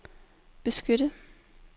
beskytte